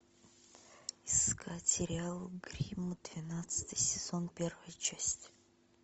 искать сериал гримм двенадцатый сезон первая часть